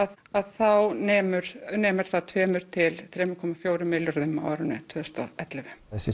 þá nemur nemur það tvo til þrjá komma fjögur milljörðum á árinu tvö þúsund og ellefu þessi